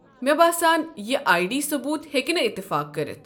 مے٘ باسان یہ آیی ڈی ثبوٗت ہیٚكہِ نہٕ اتعفاق کٔرتھ۔